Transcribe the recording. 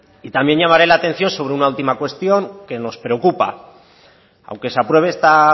y también llamaré la atención sobre una última cuestión que nos preocupa aunque se apruebe esta